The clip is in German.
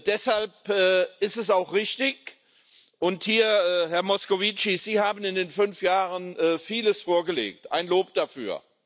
Deshalb ist es auch richtig und, Herr Moscovici, Sie haben in den fünf Jahren vieles vorgelegt, ein Lob dafür.